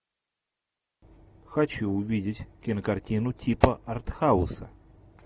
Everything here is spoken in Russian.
хочу увидеть кинокартину типа арт хауса